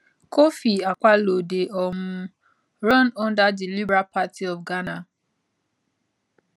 kofi akpaloo dey um run under di liberal party of ghana